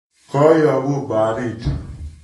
Koyobu barit